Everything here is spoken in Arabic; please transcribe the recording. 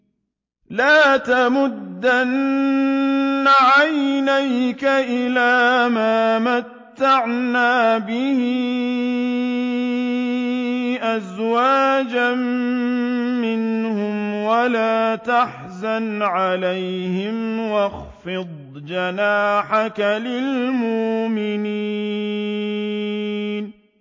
لَا تَمُدَّنَّ عَيْنَيْكَ إِلَىٰ مَا مَتَّعْنَا بِهِ أَزْوَاجًا مِّنْهُمْ وَلَا تَحْزَنْ عَلَيْهِمْ وَاخْفِضْ جَنَاحَكَ لِلْمُؤْمِنِينَ